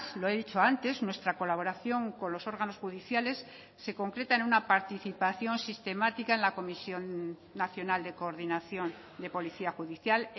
lo he dicho antes nuestra colaboración con los órganos judiciales se concreta en una participación sistemática en la comisión nacional de coordinación de policía judicial